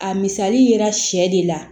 A misali yera sɛ de la